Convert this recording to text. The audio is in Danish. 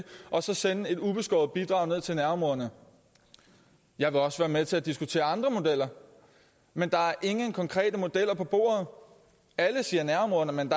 og så sende et ubeskåret bidrag til nærområderne jeg vil også være med til at diskutere andre modeller men der er ingen konkrete modeller på bordet alle siger nærområderne men